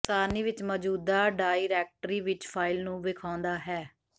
ਸਾਰਣੀ ਵਿੱਚ ਮੌਜੂਦਾ ਡਾਇਰੈਕਟਰੀ ਵਿੱਚ ਫਾਇਲ ਨੂੰ ਵੇਖਾਉਦਾ ਹੈ